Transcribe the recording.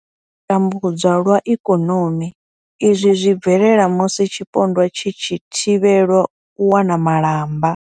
U tambudzwa lwa ikonomi izwi zwi bvelela musi tshipondwa tshi tshi thivhelwa u wana malamba.